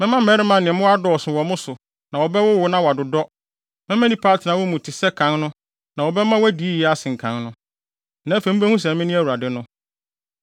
Mɛma mmarima ne mmoa adɔɔso wɔ mo so na wɔbɛwowo na wɔadodɔ, mɛma nnipa atena wo mu te sɛ kan no na wɔbɛma woadi yiye asen kan no. Na afei mubehu sɛ mene Awurade no.